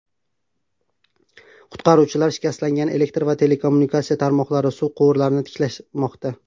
Qutqaruvchilar shikastlangan elektr va telekommunikatsiya tarmoqlari, suv quvurlarini tiklamoqda.